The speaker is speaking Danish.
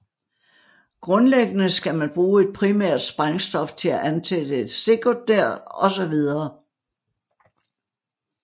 Grundlæggende skal man bruge et primært sprængstof til at antænde et sekundært og så videre